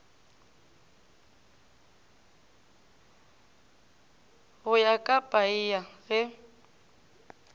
go ya ka paia ge